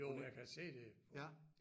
Jo jeg kan se det på